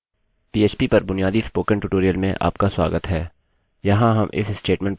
पीएचपीphpपर बुनियादी spoken tutorial में आपका स्वागत है यहाँ हम if statementस्टेट्मेन्ट पर चर्चा करेंगे